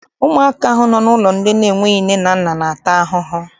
Ụmụaka ahụ nọ n'ụlọ ndị n'enweghị nne na-ata ahụhụ.